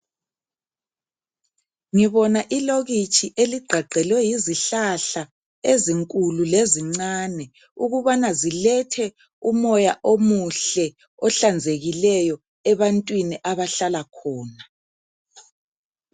Ngibona ilokitshi eli gqagqelwe yizihlahla ezinkulu lezincane ukubana zilethe umoya omuhle ohlanzekileyo ebantwini abahlala khona.